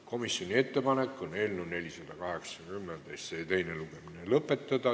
Komisjoni ettepanek on eelnõu 480 teine lugemine lõpetada.